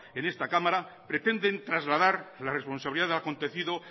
en esta cámara pretenden trasladar la responsabilidad de lo acontecido